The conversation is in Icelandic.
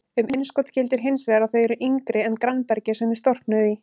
Um innskot gildir hins vegar að þau eru yngri en grannbergið sem þau storknuðu í.